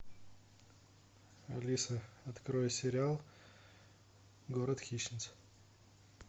алиса открой сериал город хищниц